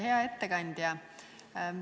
Hea ettekandja!